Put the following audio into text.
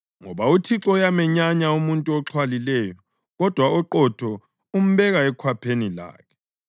ngoba uThixo uyamenyanya umuntu oxhwalileyo kodwa oqotho umbeka ekhwapheni lakhe.